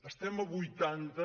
estem a vuitanta